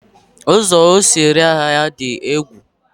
ụzọ o si ere ahịa ya dị egwu.